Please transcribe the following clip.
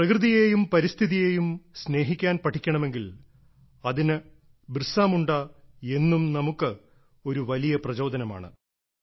പ്രകൃതിയെയും പരിസ്ഥിതിയെയും സ്നേഹിക്കാൻ പഠിക്കണമെങ്കിൽ അതിന് ബിർസ മുണ്ട എന്നും നമുക്ക് ഒരു വലിയ പ്രചോദനമാണ്